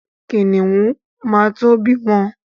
Kìnìún ma to bímọ.